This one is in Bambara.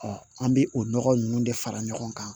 an bɛ o nɔgɔ ninnu de fara ɲɔgɔn kan